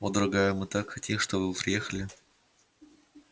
о дорогая мы так хотим чтобы вы приехали